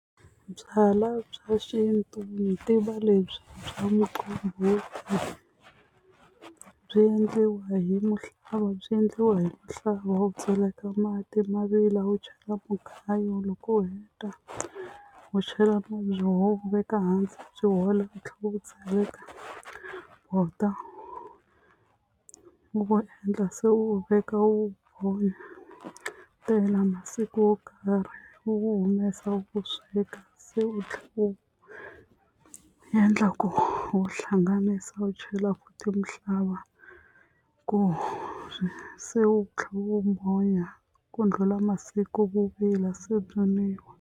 Byalwa bya xintu yi tiva lebyi bya muqombhoti byi endliwa hi muhlava byi endliwa hi mhlava u tseleka mati ma vila u chela mugayo loko u heta u chela u veka hansi byi hola u tlhela u tseleka bota u vu endla se u veka wu holetela masiku wo karhi u wu humesa u wu sweka se u tlhela u endla ku wu hlanganisa u chela ti mhlava ku se u tlhe u mbonya ku ndlhula masiku wu vila se nwiwa.